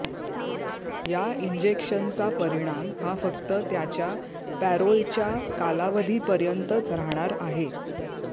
या इंजेक्शनचा परिणाम हा फक्त त्याच्या पॅरोलच्या कालावधीपर्यंतच राहणार आहे